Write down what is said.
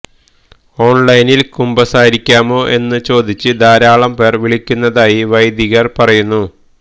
ഓൺലൈനിൽ കുമ്പസാരിപ്പിക്കാമോ എന്നു ചോദിച്ച് ധാരാളംപേർ വിളിക്കുന്നതായി വൈദികർ പറയുന്നു